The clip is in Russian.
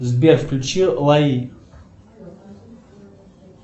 сбер включи лаи